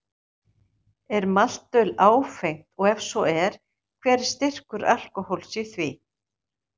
Er maltöl áfengt og ef svo er, hver er styrkur alkóhóls í því?